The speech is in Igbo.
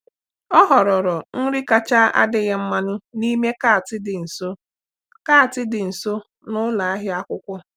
Ọ họrọrọ nri kacha adịghị mmanụ n'ime kàtị dị nso kàtị dị nso na ụlọ ahịa akwụkwọ.